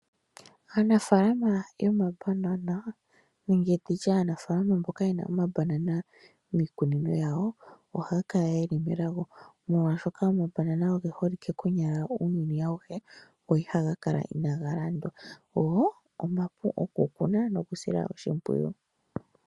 Aanafaalama yomabanana nenge nditye Aanafaalama mboka ye na omabanana miikunino yawo ohaya kala yeli melago molwashoka omabanana oge holike konyala kuuyuni auhe go ihaga kala inaga landwa go omapu okukuna osho wo okusila oshimpwiyu.